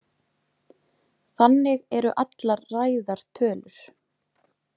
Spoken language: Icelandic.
Þannig eru allar ræðar tölur.